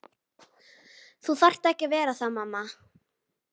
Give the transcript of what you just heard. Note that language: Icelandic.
Þú þarft ekki að vera það mamma.